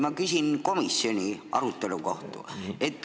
Ma küsin komisjoni arutelu kohta.